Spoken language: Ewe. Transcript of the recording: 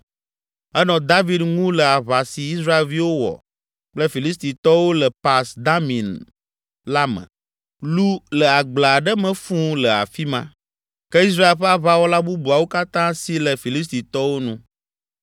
Enɔ David ŋu le aʋa si Israelviwo wɔ kple Filistitɔwo le Pas Damim la me. Lu le agble aɖe me fũ le afi ma. Ke Israel ƒe aʋawɔla bubuawo katã si le Filistitɔwo nu.